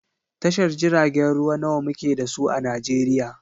Tashar jiragen ruwa nawa muke da su a Najeriya?